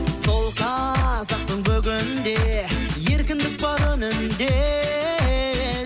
сол қазақтың бүгінде еркіндік бар үнінде